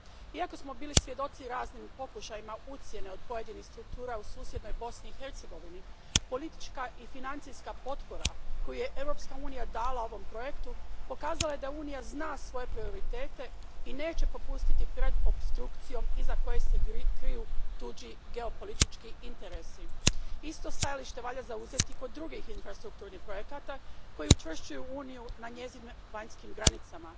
Iako smo bili svjedoci raznim pokušajima ucjene od pojedinih struktura u susjednoj Bosni i Hercegovini, politička i financijska potpora koju je Europska unija dala ovom projektu pokazala je da Unija zna svoje prioritete i neće popustiti pred opstrukcijom iza koje se kriju tuđi geopolitički interesi. Isto stajalište valja zauzeti i kod drugih infrastrukturnih projekata koji učvršćuju Uniju na njezinim vanjskim granicama.